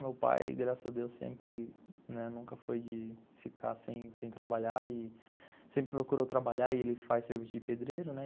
Meu pai, graças a Deus, sempre, né, nunca foi de ficar sem sem trabalhar e sempre procurou trabalhar e ele faz serviço de pedreiro, né?